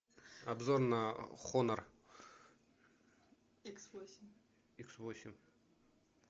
обзор на хонор икс восемь